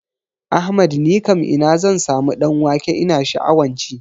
Ahmad nikam ina zan samu ɗan wake ina sha'awan ci?